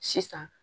Sisan